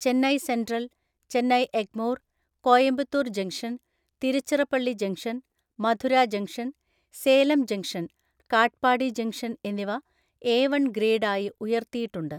Chennai central, Chennai Egmore, Coimbatore junction, Tiruchirappalli junction, Madurai junction, Salem junction, Katpadi junction എന്നിവ A one‍ ഗ്രേഡായി ഉയർത്തിയിട്ടുണ്ട്.